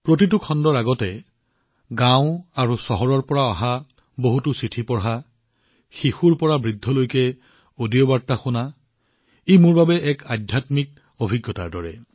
প্ৰতিটো খণ্ডৰ পূৰ্বে গাওঁ আৰু চহৰৰ পৰা অহা চিঠি পঢ়া শিশুৰ পৰা জ্যেষ্ঠসকলৰ অডিঅ বাৰ্তা শুনা এইটো মোৰ বাবে এক আধ্যাত্মিক অভিজ্ঞতাৰ দৰে